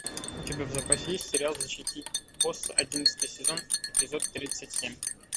у тебя в запасе есть сериал защитить босса одиннадцатый сезон эпизод тридцать семь